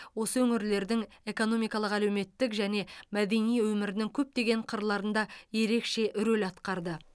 осы өңірлердің экономикалық әлеуметтік және мәдени өмірінің көптеген қырларында ерекше рөл атқарды